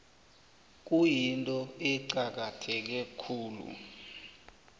kuyinto eqakatheke khulu